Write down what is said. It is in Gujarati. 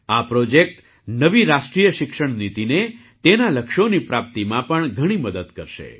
આ પ્રૉજેક્ટ નવી રાષ્ટ્રીય શિક્ષણ નીતિને તેનાં લક્ષ્યોની પ્રાપ્તિમાં પણ ઘણી મદદ કરશે